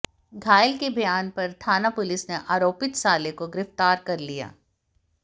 घायल के बयान पर थाना पुलिस ने आरोपित साले को गिरफ्तार कर लिया